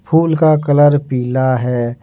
फूल का कलर पीला है।